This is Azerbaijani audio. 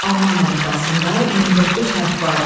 Alman əlifbasında 29 hərf vardı.